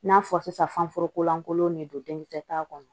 N'a fɔ sisan fan foro kolankolon de don denkisɛ ta kɔnɔ